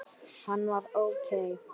Hann var ókei.